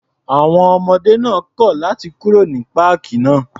À̀wọn ọmọ náà kọ̀ láti kúrò ní páàkì náà.